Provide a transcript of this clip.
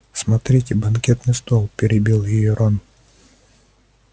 смотрите банкетный стол перебил её рон